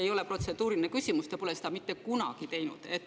Aga te pole seda mitte kunagi teinud.